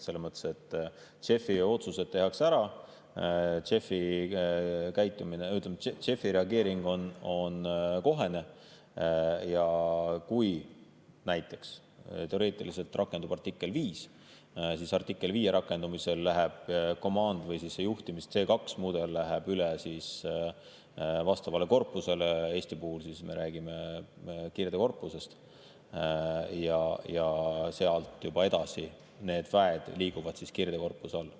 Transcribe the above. Selles mõttes, et JEF‑i otsused tehakse ära, JEF‑i reageering on kohene ja kui näiteks teoreetiliselt rakendub artikkel 5, siis artikli 5 rakendumisel läheb juhtimise C2‑mudel üle vastavale korpusele – Eesti puhul me räägime Kirdekorpusest – ja sealt edasi need väed liiguvad juba Kirdekorpuse alla.